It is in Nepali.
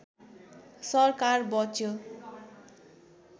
सरकार बच्यो